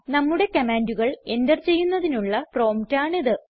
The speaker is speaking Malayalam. നമ്മുടെ കമാൻഡുകൾ എന്റർ ചെയ്യുന്നതിനുള്ള പ്രോംപ്റ്റ് ആണിത്